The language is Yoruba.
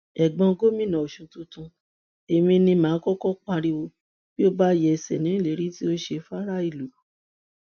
ẹgbọn gómìnà ọsùn tuntun èmi ni mà á kọkọ pariwo bí o bá yẹsẹ nínú ìlérí tó o ṣe faraàlú